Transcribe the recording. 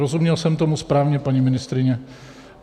Rozuměl jsem tomu správně, paní ministryně?